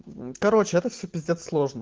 короче это всё пиздец сложно